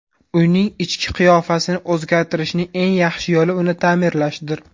Uyning ichki qiyofasini o‘zgartirishning eng yaxshi yo‘li uni ta’mirlashdir.